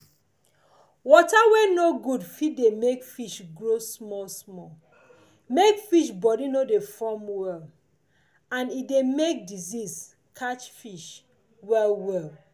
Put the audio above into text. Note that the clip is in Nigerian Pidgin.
water wey no good fit de make fish grow small small make fish body no de form well and e de make disease catch fish well well